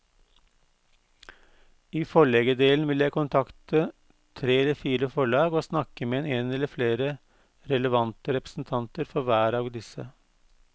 I forleggerdelen vil jeg kontakte tre eller fire forlag og snakke med en eller flere relevante representanter for hver av disse.